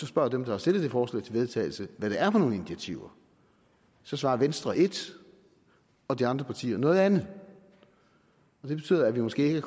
spørger dem der har stillet det forslag til vedtagelse hvad det er for nogle initiativer så svarer venstre ét og de andre partier noget andet og det betyder at vi måske ikke